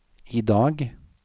idag